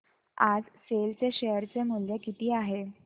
आज सेल चे शेअर चे मूल्य किती आहे